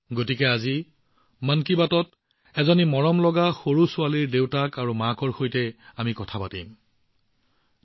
গতিকে আজি মন কী বাতত এজনী মৰমলগা ছোৱালী এগৰাকী ধুনীয়া দেৱদূতৰ পিতৃ আৰু মাতৃ আমাৰ সৈতে সংযোজিত হবলৈ গৈ আছে